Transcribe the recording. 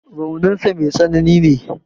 Raunin sa mai tsanani ne.